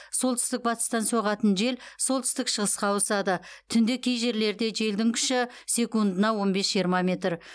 солтүстік батыстан соғатын жел солтүстік шығысқа ауысады түнде кей жерлерде желдің күші секундына он бес жиырма метр